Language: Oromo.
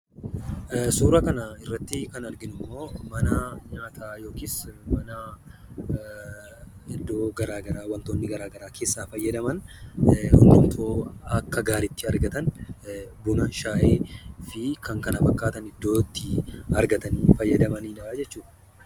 Suura kana irrattii kan arginummoo manaa nyaataa yookisi manaa iddoo garaa garaa wantoonni garaa garaa keessaa fayyadaman hundumtuu akka gaariitti argatan buna, shaayii fi kan kana fakkaatani iddoottii argatanii fayyadamanidhaa jechuudha.